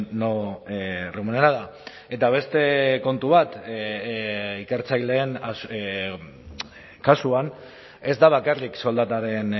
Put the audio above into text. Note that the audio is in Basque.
no remunerada eta beste kontu bat ikertzaileen kasuan ez da bakarrik soldataren